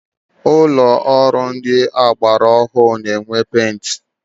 Ụlọ ọrụ ndị ọgbara ọhụrụ na-enwe printa.